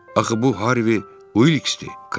Axı bu Harvi Vilksdir.